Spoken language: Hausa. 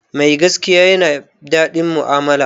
Mai gaskiya ya na daɗin mu'amala